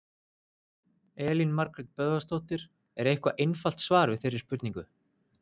Elín Margrét Böðvarsdóttir: Er eitthvað einfalt svar við þeirri spurningu?